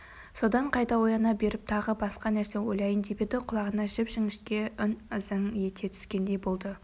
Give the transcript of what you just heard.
содан қайта ояна беріп тағы басқа нәрсе ойлайын деп еді құлағына жіп-жіңішке үн ызың ете түскендей болды